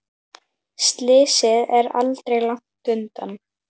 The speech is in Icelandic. Slysið er aldrei langt undan.